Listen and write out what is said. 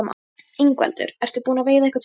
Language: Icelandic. Ingveldur: Ertu búinn að veiða einhvern fisk?